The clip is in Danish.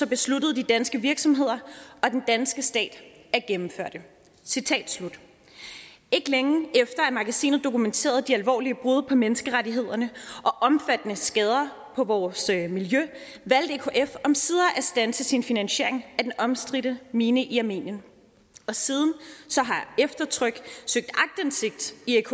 besluttede de danske virksomheder og den danske stat at gennemføre det ikke længe efter at magasinet dokumenterede de alvorlige brud på menneskerettighederne og omfattende skader på vores miljø valgte ekf omsider at standse sin finansiering af den omstridte mine i armenien og siden har eftertryk søgt aktindsigt i